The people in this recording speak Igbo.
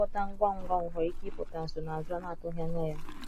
ngwọta ngwa ngwa nwekwara ike ipụta nsonaazu a na-atughi anya ya